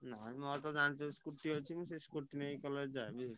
ନାଇଁ ମୋର ତ ଜାଣିଛୁ scooty ଅଛି scooty ନେଇ college ଯାଏ।